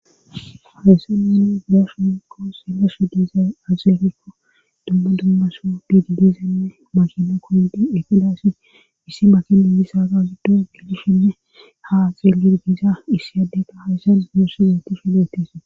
hawysseneni girashumikko selashu diiza aazeegikko dumma dummaso biididiisenne makina koyindi eqedaassi issi makiniisa agaazedo gelishenne ha xeelir giisa issi addeka hawyssan giessi yooti shiletis